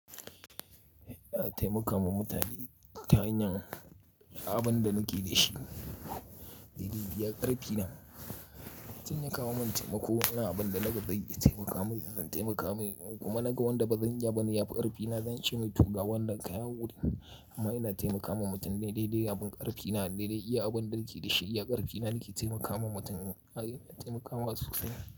Ina taimakawa mutane ta hanyar abin da nake da shi, dai dai iya ƙarfina. Zan iya kawo min taimako, ina abin da naga zai iya taimaka min, zan taimaka min kuma naga wanda bazan iya ba, zan yi abun ƙarfina, zan ce mai tuga wanda kawo wurin. Amma ina taimakawa mutum dai dai abin ƙarfina, dai dai iya abin da nake da shi, iya ƙarfina nake taimakawa mutum, a'a ina taimakawa su tsira.